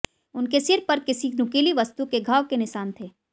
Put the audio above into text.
उनके सिर पर किसी नुकीली वस्तु के घाव के निशान थे